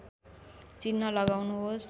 चिन्ह लगाउनुहोस्